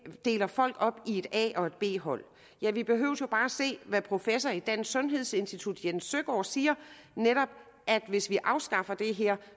deler folk op i et a og et b hold ja vi behøver bare at se hvad professor i dansk sundhedsinstitut jes søgaard siger nemlig at hvis vi afskaffer det her